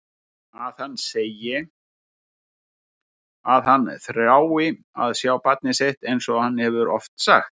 Að hann segi að hann þrái að sjá barnið sitt einsog hann hefur oft sagt.